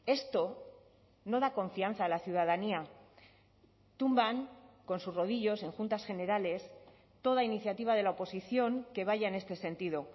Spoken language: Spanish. esto no da confianza a la ciudadanía tumban con sus rodillos en juntas generales toda iniciativa de la oposición que vaya en este sentido